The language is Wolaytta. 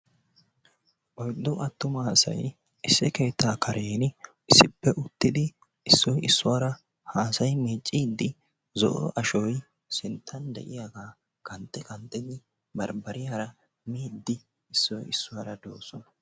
oyddu attuma asay issi keettaa karen issippe uttidi issoy iisuwara haasayi miicidi zo'o ashoy sinttan de'iyagaa qanxxi qanxxidi barbbariyara miidi issoy isuwara doosona.